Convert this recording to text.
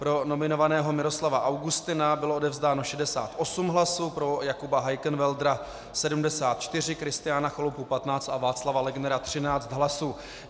Pro nominovaného Miroslava Augustina bylo odevzdáno 68 hlasů, pro Jakuba Heikenwäldera 74, Kristiána Chalupu 15 a Václava Legnera 13 hlasů.